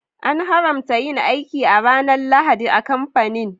An haramta yin aiki a ranar Lahadi a kamfanin.